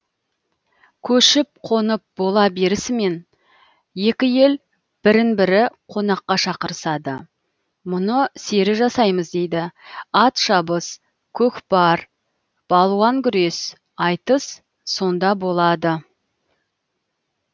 көшіп қонып бола берісімен екі ел бірін бірі қонаққа шақырысады мұны сері жасаймыз дейді ат шабыс көкпар балуан күрес айтыс сонда болады